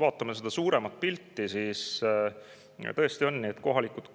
Vaatame suuremat pilti, tõesti on nii, et kohalikud